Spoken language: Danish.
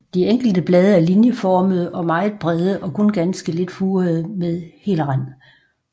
De enkelte blade er linjeformede og meget brede og kun ganske lidt furede med hel rand